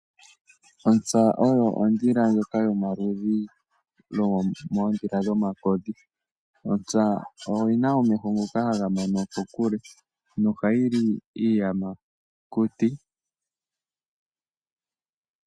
Ontsa oyo odhila ndjoka yomaludhi moodhila dhomakodhi, ontsa oyi na omeho ngoka haga mono kokule nohayi li iiyamakuti.